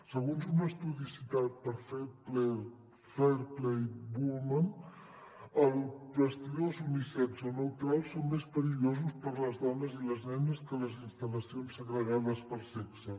segons un estudi ci·tat per fair play for women els vestidors unisex o neutrals són més perillosos per a les dones i les nenes que les instal·lacions segregades per sexe